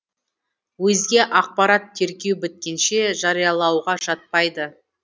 өзге ақпарат тергеу біткенше жариялауға жатпайды